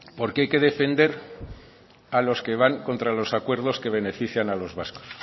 porqué hay que defender a los que van contra los acuerdos que benefician a los vascos